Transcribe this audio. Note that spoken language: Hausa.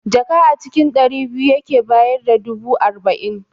Jaka a cikin ɗari biyu yake bayar da dubu arba'in